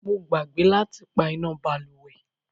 Mo gbàgbé láti pá iná bálùwẹ̀.